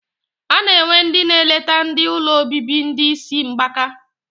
Ana enwe ndi na eleta ndi ụlọ obibi ndi isi mgbaka.